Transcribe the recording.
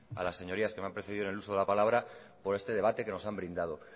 a las señorías que me han precedido en el uso de la palabra por este debate que nos han brindado